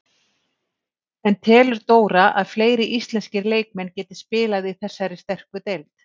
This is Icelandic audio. En telur Dóra að fleiri íslenskir leikmenn geti spilað í þessari sterku deild?